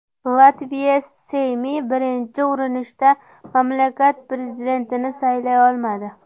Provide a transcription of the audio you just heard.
Latviya Seymi birinchi urinishda mamlakat prezidentini saylay olmadi.